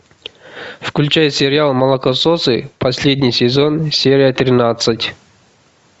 включай сериал молокососы последний сезон серия тринадцать